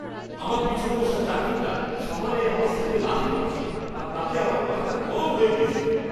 আমার পেছনে বসা যাত্রীটা সমানে আমার সিটে লাথি মারছিল আর তাতে আমার মাথাটা গরম হয়ে গেছিল।